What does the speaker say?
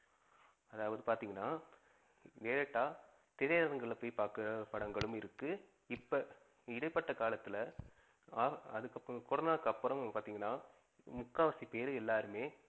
அதாவது பாத்திங்கனா, Direct ஆ திரைஅரங்குக்கள்ல போய் பாக்குற படங்களும் இருக்கு, இப்ப இடைப்பட்ட காலத்துல்ல அஹ் அதுக்கப்புறம் கொரோனக்கு அப்புறம் பாத்திங்கனா முக்காவாசி பேரு எல்லாருமே